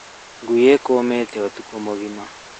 Ngui ĩkũgĩte ũtukũ mũgima